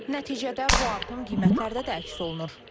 Nəticədə bu artım qiymətlərdə də əks olunur.